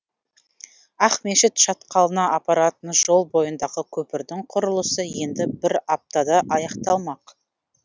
ақмешіт шатқалына апаратын жол бойындағы көпірдің құрылысы енді бір аптада аяқталмақ